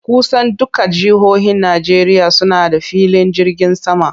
Kusan dukkan jihohin Najeriya suna filin jirgin sama.